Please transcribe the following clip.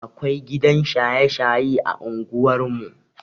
Akwai gidan shaye-shaye a unguwan mu.